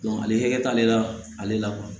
ale t'ale la ale la